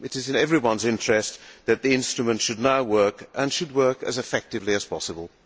It is in everyone's interest that the instrument should now work and should work as effectively as possible.